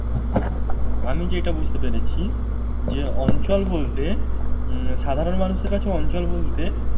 আমি যেটা বুঝতে পেরেছি, যে অঞ্চল বলতে উম সাধারণ মানুষের কাছে অঞ্চল বলতে